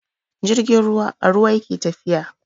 Jirgin ruwa a ruwa yake tafiya.